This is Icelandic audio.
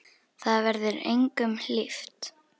Það verður engum hlíft!